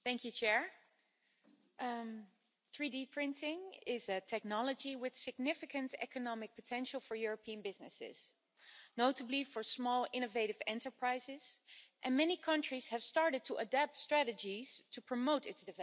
Madam President, 3D printing is a technology with significant economic potential for European businesses, notably for small, innovative enterprises, and many countries have started to adapt strategies to promote its development.